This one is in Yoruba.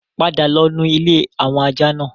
Padà lọ nu ilé àwọn ajá náà!